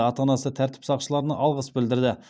ата анасы тәртіп сақшыларына алғыс білдірді